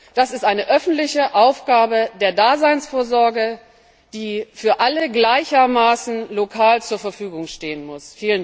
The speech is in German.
Das ist eine öffentliche Aufgabe der Daseinsvorsorge, die für alle gleichermaßen lokal zur Verfügung stehen muss.